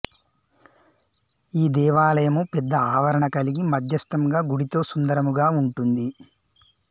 ఈ దేవాలయము పెద్ద ఆవరణ కలిగి మధ్యస్థంగా గుడితో సుందరముగా ఉంటుంది